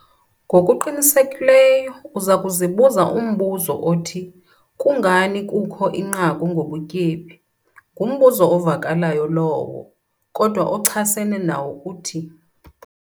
NGOKUQINISEKILEYO UZA KUZIBUZA UMBUZO OTHI 'KUNGANI KUKHO INQAKU NGOBUTYEBI?'. NGUMBUZO OVAKALAYO LOWO, KODWA OCHASENE NAWO UTHI.